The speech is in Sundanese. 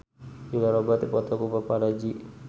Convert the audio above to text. Julia Robert dipoto ku paparazi